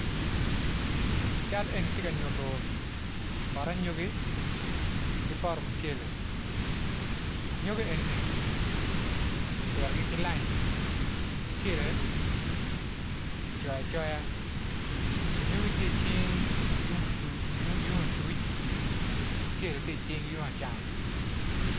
Cal eni tye ka nyuto poto anyogi ki poto mucele angogi eni ni ki pitogi ki lain mucele kicoyo acoya anyogi tye icing yung acucu mucele tye icing yung acam